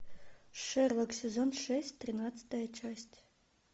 шерлок сезон шесть тринадцатая часть